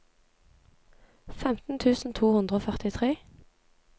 femten tusen to hundre og førtitre